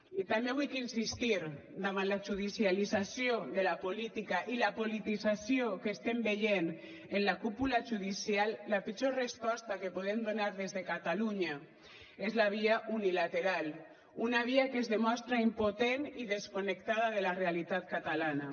i també vull insistir davant la judicialització de la política i la politització que estem veient en la cúpula judicial la pitjor resposta que podem donar des de catalunya és la via unilateral una via que es demostra impotent i desconnectada de la realitat catalana